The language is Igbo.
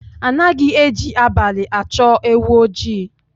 Anaghị eji abalị achọ ewu oji